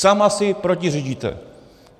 Sama si protiřečíte.